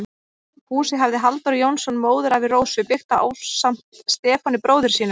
Húsið hafði Halldór Jónsson, móðurafi Rósu, byggt ásamt Stefáni, bróður sínum.